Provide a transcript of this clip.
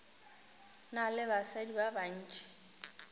na le basadi ba bantši